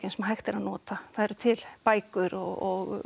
sem hægt er að nota það eru til bækur og